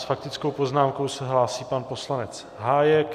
S faktickou poznámkou se hlásí pan poslanec Hájek.